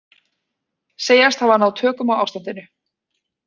Segjast hafa náð tökum á ástandinu